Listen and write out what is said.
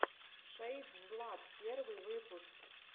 шэйдзлат первый выпуск